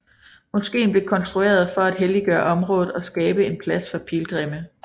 Moskeen blev konstrueret for at helliggøre området og skabe en plads for pilgrimme